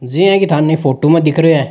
जियेकी थानों फोटो में दिख रहयो है।